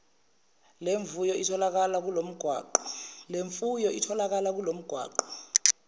lemvuyo itholakala kulomgwaqo